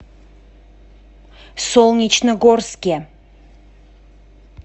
солнечногорске